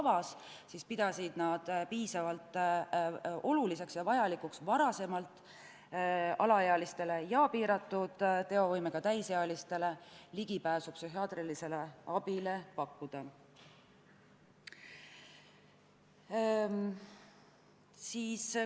Valitsus pidas piisavalt oluliseks ja vajalikuks, et alaealistele ja piiratud teovõimega täisealistele tagataks ligipääs psühhiaatrilisele abile juba varem.